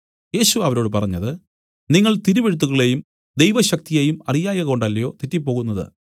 യേശു അവരോട് പറഞ്ഞത് നിങ്ങൾ തിരുവെഴുത്തുകളെയും ദൈവശക്തിയെയും അറിയായ്കകൊണ്ടല്ലയോ തെറ്റിപ്പോകുന്നത്